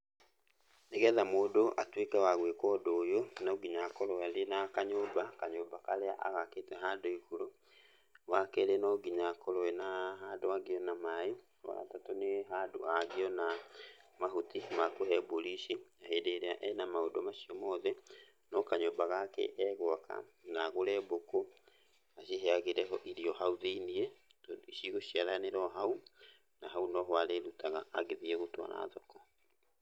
Nĩgetha mũndũ atuĩke wa gũĩka ũndũ ũyũ, no nginya akorwo arĩ na kanyũmba, kanyũmba karĩa agakĩte handũ igũrũ. Wakerĩ no nginya akorwo ena handũ angĩona maĩ. Wagatatũ nĩ handũ angĩona mahuti ma kũhe mbũri ici. Hĩndĩ ĩrĩa ena maũndũ macio mothe, no kanyũmba gake egwaka na agũre mbũkũ aciheagĩre ho irio hau thĩiniĩ tondũ cigũciaranĩra o hau, na hau no ho arĩrutaga agĩthiĩ gũtwara thoko.